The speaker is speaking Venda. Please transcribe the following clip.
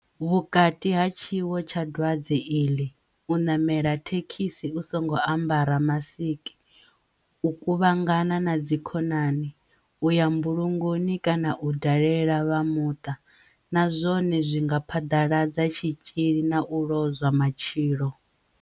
Vhukati ha tshiwo tsha dwadze iḽi, u ṋamela thekhisi u songo ambara masiki, u ku-vhangana na dzikhonani, u ya mbulungoni kana u dalela vha muṱa, na zwone zwi nga phaḓaladza tshitzhili na u lozwa matshilo.